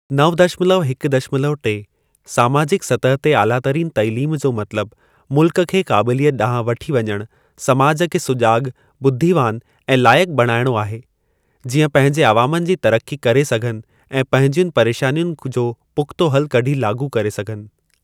नव दशमलव हिकु दशमलव टे, समाजिक सतह ते आलातरीन तइलीम जो मतलब मुल्क खे क़ाबिलियत ॾांहुं वठी वञणु, समाज खे सुजाॻु, बुद्धीवान ऐं लाइकु बणाइणो आहे, जीअं पंहिंजे अवामनि जी तरक़ी करे सघनि ऐं पंहिंजियुनि परेशानियुनि जो पुख़्तो हलु कढी, लाॻू करे सघनि।